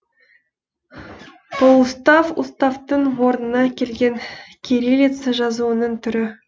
полуустав уставтың орнына келген кириллица жазуының түрі